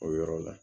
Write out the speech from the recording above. O yɔrɔ la